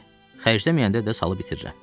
Xərcləməyəndə də salıb itirirəm.